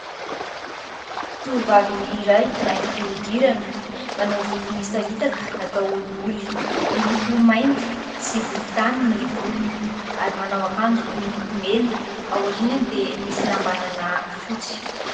Tovovavy iray mainty fihodirana, manao volo misaritaka natao olioly, miloko mainty sy volontany ny volony ary manao akanjo miloko mena, ao aorianany dia misy lambanana fotsy.